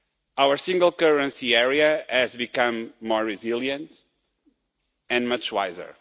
Our single currency area has become more resilient and much wiser.